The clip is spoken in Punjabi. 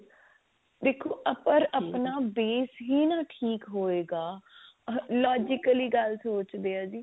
ਵੇਖੋ ਅਗਰ ਆਪਣਾ base ਹੀ ਨਾ ਠੀਕ ਹੋਏਗਾ logically ਗੱਲ ਸੋਚਦੇ ਹਾਂ ਜੀ